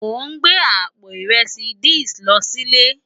Mó n gbé àpó irèsí this lò silé